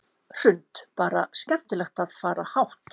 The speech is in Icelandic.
Hrund: Bara skemmtilegt að fara hátt?